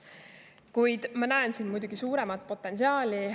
Kuid ma näen siin muidugi suuremat potentsiaali.